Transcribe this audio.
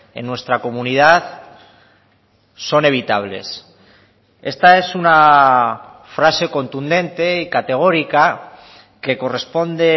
en nuestra comunidad son evitables esta es una frase contundente y categórica que corresponde